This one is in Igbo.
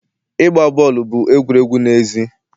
Igba boolu bụ egwuregwu n'èzí